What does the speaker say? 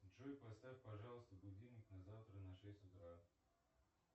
джой поставь пожалуйста будильник на завтра на шесть утра